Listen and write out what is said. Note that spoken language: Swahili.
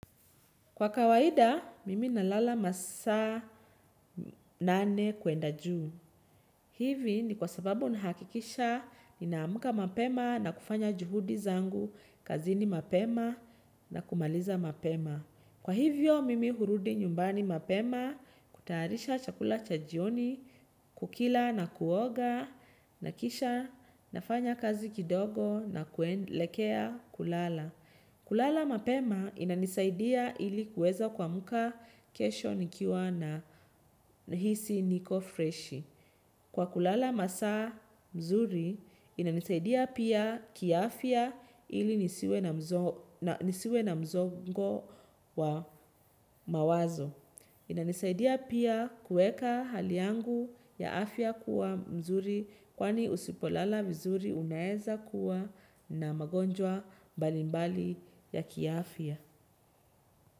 Kwa kawaida, mimi nalala masa nane kuenda juu. Hivi ni kwa sababu nahakikisha, ninamuka mapema na kufanya juhudi zangu, kazini mapema na kumaliza mapema. Kwa hivyo, mimi hurudi nyumbani mapema, kutarisha chakula cha jioni, kukila na kuoga, nakisha, nafanya kazi kidogo na kuelekea kulala. Kulala mapema inanisaidia ilikuweza kwa muka kesho nikiwa nahisi niko freshi. Kwa kulala masa mzuri inanisaidia pia kia afia ili nisiwe na mzongo wa mawazo. Ina nisaidia pia kueka hali yangu ya afya kuwa mzuri kwani usipolala mzuri unaeza kuwa na magonjwa mbalimbali ya kiafya.